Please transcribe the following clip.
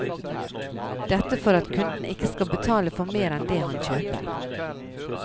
Dette for at kunden ikke skal betale for mer enn det han kjøper.